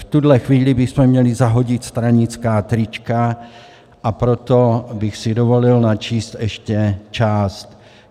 V tuto chvíli bychom měli zahodit stranická trička, a proto bych si dovolil načíst ještě část.